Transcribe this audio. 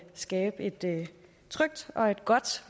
skabe et trygt og godt